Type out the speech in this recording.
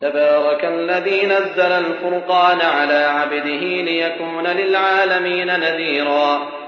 تَبَارَكَ الَّذِي نَزَّلَ الْفُرْقَانَ عَلَىٰ عَبْدِهِ لِيَكُونَ لِلْعَالَمِينَ نَذِيرًا